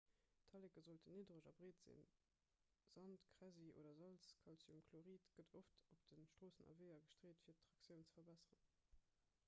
d'talleke sollten niddereg a breet sinn. sand kräsi oder salz calciumchlorid gëtt oft op de stroossen a weeër gestreet fir d'traktioun ze verbesseren